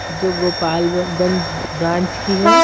जो Gopalganj branch की है।